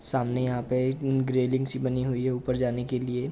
सामने यहाँ पे ग्रेडिंग सी बनी हुई है ऊपर जाने के लिए।